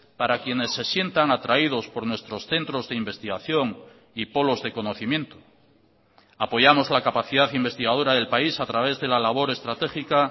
para quienes se sientan atraídos por nuestros centros de investigación y polos de conocimiento apoyamos la capacidad investigadora del país a través de la labor estratégica